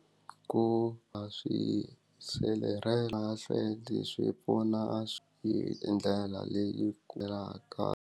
Ku va swi sirhelela swi pfuna a swi hi ndlela leyi .